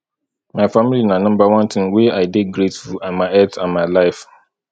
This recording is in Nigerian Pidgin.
my family na number one thing wey i dey grateful and my health and my life